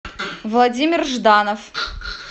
владимир жданов